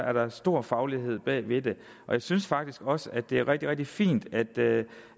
er der stor faglighed bag ved det og jeg synes faktisk også at det er rigtig rigtig fint at